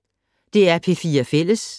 DR P4 Fælles